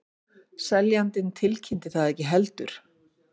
Seljandinn tilkynnti það ekki heldur